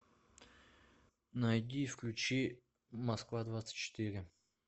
найди и включи москва двадцать четыре